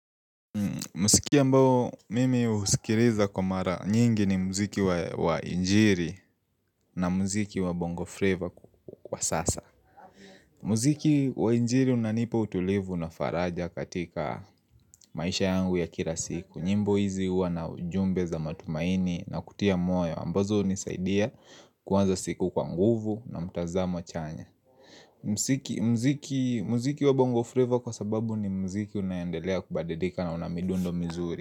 Muziki ambao mimi husikiliza kwa mara nyingi ni muziki wa injili na muziki wa bongo flavor kwa sasa. Muziki wa injili unanipa utulivu na faraja katika maisha yangu ya kila siku. Nyimbo hizi huwa na ujumbe za matumaini na kutia moyo ambazo hunisaidia kuanza siku kwa nguvu na mtazamo chanya. Muziki wa bongo flavor kwa sababu ni muziki unayoendelea kubadilika na una midundo mizuri.